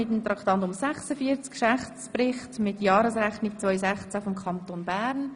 Somit kommen wir zum Geschäftsbericht mit Jahresrechnung 2016 des Kantons Bern.